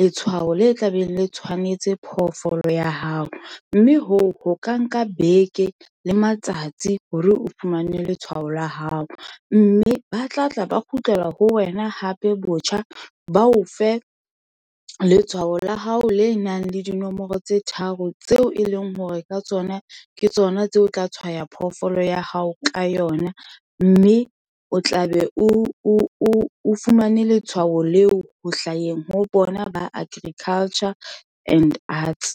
letshwao le tla beng le tshwanetse phoofolo ya hao. Mme hoo, ho ka nka beke le matsatsi hore o fumane letshwao la hao. Mme ba tlatla ba kgutlela ho wena hape botjha, ba o fe letshwao la hao le nang le dinomoro tse tharo tseo e leng hore ka tsona ke tsona tseo o tla tshwaya phoofolo ya hao ka yona. Mme o tlabe o fumane letshwao leo ho hlaheng ho bona ba agriculture and arts.